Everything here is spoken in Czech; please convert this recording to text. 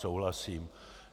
Souhlasím.